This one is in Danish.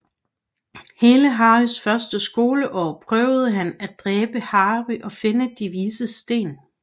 Hele Harrys første skoleår prøver han at dræbe Harry og finde De Vises Sten